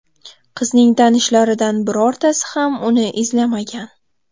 Qizning tanishlaridan birortasi ham uni izlamagan.